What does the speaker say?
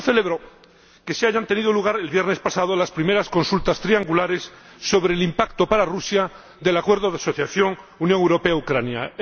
Yo celebro que hayan tenido lugar el viernes pasado las primeras consultas triangulares sobre el impacto para Rusia del Acuerdo de Asociación Unión Europea Ucrania.